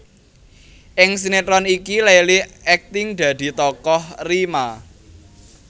Ing sinetron iki Leily akting dadi tokoh Rima